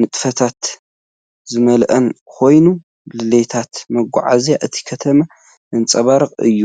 ንጥፈታት ዝመልኦን ኮይኑ፡ ድሌታት መጓዓዝያ እታ ከተማ ዘንጸባርቕ እዩ።